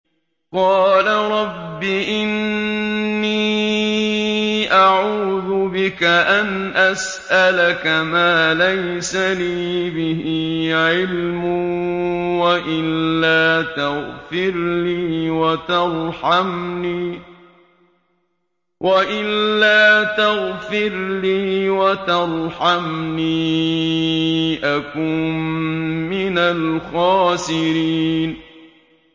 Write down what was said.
قَالَ رَبِّ إِنِّي أَعُوذُ بِكَ أَنْ أَسْأَلَكَ مَا لَيْسَ لِي بِهِ عِلْمٌ ۖ وَإِلَّا تَغْفِرْ لِي وَتَرْحَمْنِي أَكُن مِّنَ الْخَاسِرِينَ